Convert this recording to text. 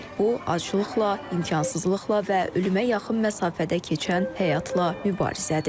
Bu aclıqla, imkansızlıqla və ölümə yaxın məsafədə keçən həyatla mübarizədir.